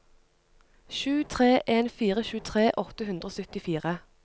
sju tre en fire tjuetre åtte hundre og syttifire